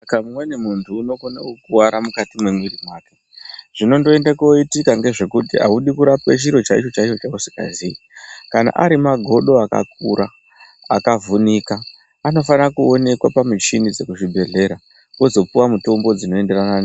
Pamweni muntu unokone kukuwara mukati mwemuiri wake, zvinondoende kooitika ngezvekuti audi kurapwe chinhu chaicho chaicho usikaziyi. Kana ari magodo akakura akavhunika anofana kuonekwe pamuchini dzekuzvibhedhlera wozopuwe mutombo dzinoenderana.